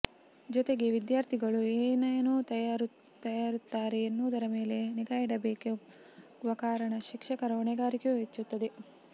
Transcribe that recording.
ಜೊತೆಗೆ ವಿದ್ಯಾರ್ಥಿಗಳು ಏನೇನು ತರುತ್ತಾರೆ ಎನ್ನುವುದರ ಮೇಲೆ ನಿಗಾಯಿಡಬೇಕಾಗುವ ಕಾರಣ ಶಿಕ್ಷಕರ ಹೊಣೆಗಾರಿಕೆಯೂ ಹೆಚ್ಚುತ್ತದೆ